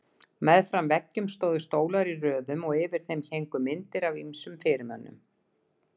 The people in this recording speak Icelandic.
Meðfram veggjum stóðu stólar í röðum og yfir þeim héngu myndir af ýmsum fyrirmönnum.